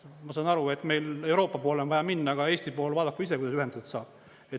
" Ma saan aru, et meil Euroopa poole on vaja minna, aga Eesti pool vaadaku ise, kuidas ühendatud saab.